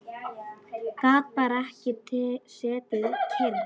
Gat bara ekki setið kyrr.